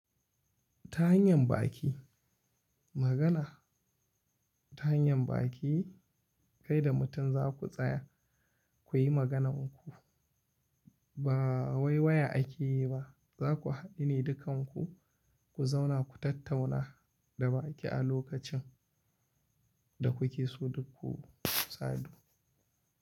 Ta hanyar baki, magana ta hanyar baki kai da mutum za ku tsaya kuyi maganarku. Ba wai waya akeyi ba, zaku hadu ne dukan ku ku zauna ku tattauna da baki a lokacin da kuke so duk ku sadu.